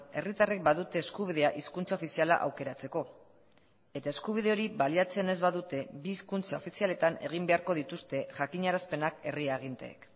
herritarrek badute eskubidea hizkuntza ofiziala aukeratzeko eta eskubide hori baliatzen ez badute bi hizkuntza ofizialetan egin beharko dituzte jakinarazpenak herri aginteek